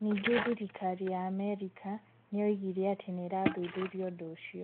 Ningĩ thirikari ya Amerika nĩ yoigire atĩ nĩ irathuthuria ũndũ ũcio.